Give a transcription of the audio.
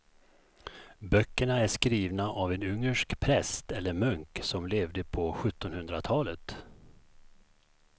Böckerna är skrivna av en ungersk präst eller munk som levde på sjuttonhundratalet.